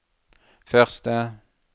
første